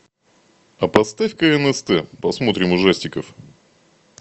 а поставь ка нст посмотрим ужастиков